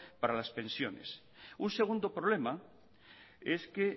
para las pensiones un segundo problema es que